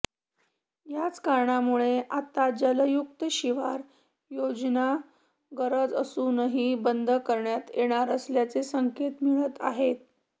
याच कारणामुळे आता जलयुक्त शिवार योजना गरज असूनही बंद करण्यात येणार असल्याचेच संकेत मिळत आहेत